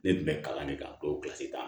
Ne tun bɛ kalan de kan tan